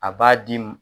A b'a di